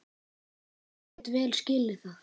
Ég get vel skilið það.